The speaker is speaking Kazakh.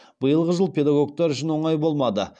биылғы жыл педагогтер үшін оңай болмады